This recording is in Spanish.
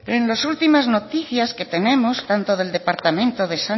en las últimas noticias que tenemos